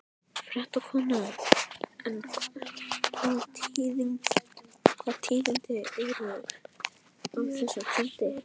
Fréttakona: En hvaða tíðindi eru af þessum fundi?